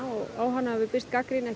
og á hana hefur birst gagnrýni